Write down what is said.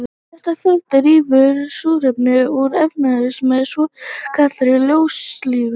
Þetta ferli rýfur súrefni úr efnatengslum með svokallaðri ljóstillífun.